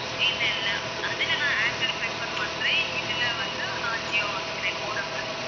இல்ல இல்ல அதுல நான் ஏர்டெல் prefer பண்றேன் இதுல வந்து நான் ஜியோ வாங்குறேன் modem ல